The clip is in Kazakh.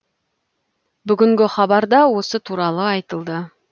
бүгінгі хабарда осы туралы айтылды